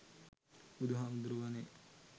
බුදු හාමුදුරුවනේ